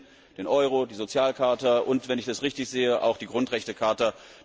Schengen, den Euro, die Sozialcharta und wenn ich das richtig sehe auch die Grundrechtecharta.